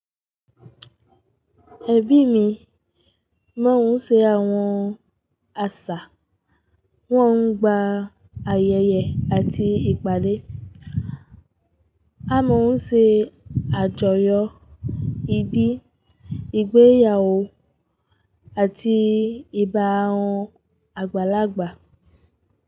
Ẹbí mi máa ń ṣe àwọn àṣà, wọ́n ń gba ayẹyẹ àti ìpàdé. A máa ń ṣe àjọyọ̀ ìbí, ìgbéyàwó àti ìba ohun àgbàlagbà.